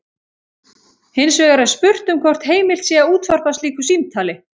Hins vegar er spurt um hvort heimilt sé að útvarpa slíku símtali.